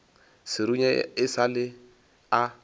serunya e sa le a